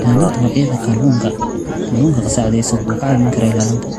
Ilaalinta Noocyada Kalluunka Kulluunka qasacadaysan wuxuu kaa caawin karaa ilaalinta.